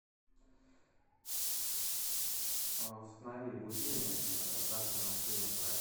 установи будильник завтра на семь утра